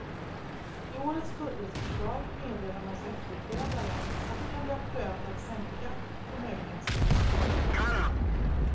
I årets budgetförslag meddelar hans efterträdare att det kan bli aktuellt att sänka förmögenhetsskatten.